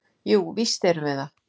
Jú, víst erum við það.